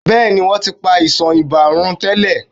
Bẹ́ẹ̀ ni, wọ́n ti pa àìsàn ibà run tẹ́lẹ̀.